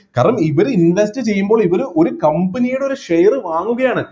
കാരണം ഇവര് invest ചെയുമ്പോൾ ഇവര് ഒരു company യുടെ ഒരു share വാങ്ങുകയാണ്